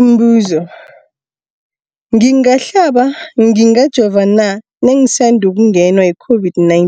Umbuzo, ngingahlaba, ngingajova na nangisandu kungenwa yi-COVID-19?